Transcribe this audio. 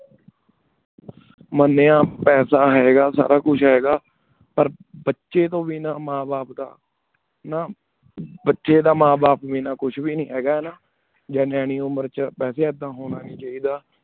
ਮਾਨੇਯਨ ਪਾਸਾ ਹੈਂ ਗਾ ਸਾਰਾ ਕੁਛ ਹੈਂ ਗਾ ਪਰ ਬਚੀ ਤੂੰ ਬਿਨਾ ਮਾਂ ਬਾਪ ਦਾ ਨਾ ਬਚੀ ਦਾ ਮਾਂ ਬਾਪ ਬਿਨਾ ਕੁਛ ਬ ਨੀ ਹੈ ਗਾ ਹਾਨਾ ਨਿਆਣੀ ਉਮੇਰ ਵੇਚ ਵਾਸੀ ਏਡਾ ਹੁਣ ਨੀ ਚਾਹੇਦਾ